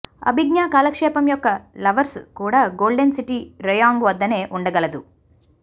అభిజ్ఞా కాలక్షేపం యొక్క లవర్స్ కూడా గోల్డెన్ సిటీ రేయాంగ్ వద్దనే ఉండగలదు